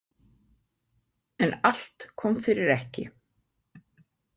En allt kom fyrir ekki.